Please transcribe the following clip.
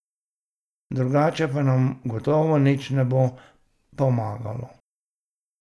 Drugače pa nam gotovo nič ne bo pomagalo.